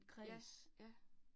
Ja, ja